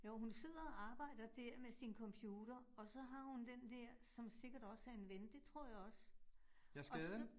Jo, hun sidder og arbejder der med sin computer, og så har hun den der, som sikkert også er en ven, det tror jeg også. Og så